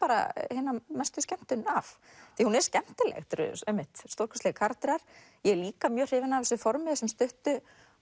hina mestu skemmtun af því hún er skemmtileg þetta eru einmitt stórkostlegir karakterar ég er líka mjög hrifin af þessu formi þessum stuttu